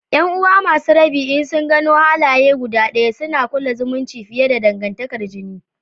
’Yan’uwa masu rabi in sun gano halaye guda ɗaya, suna kulla zumunci fiye da dangantakar jini.